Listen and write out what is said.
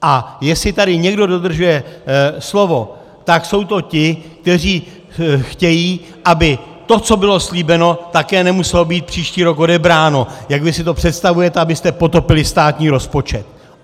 A jestli tady někdo dodržuje slovo, tak jsou to ti, kteří chtějí, aby to, co bylo slíbeno, také nemuselo být příští rok odebráno, jak vy si to představujete, abyste potopili státní rozpočet.